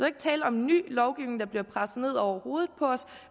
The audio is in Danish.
ikke tale om ny lovgivning der bliver presset ned over hovedet på os